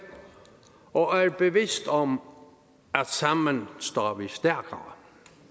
og er bevidst om at sammen står vi stærkere